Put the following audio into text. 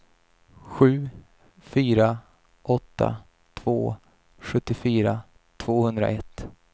sju fyra åtta två sjuttiofyra tvåhundraett